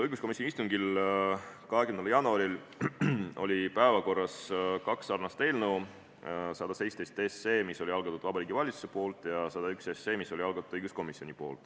Õiguskomisjoni istungil 20. jaanuaril oli päevakorras kaks sarnast eelnõu: 117, mille oli algatanud Vabariigi Valitsus, ja 101, mille oli algatanud õiguskomisjon.